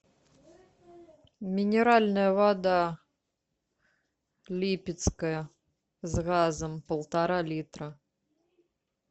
минеральная вода липецкая с газом полтора литра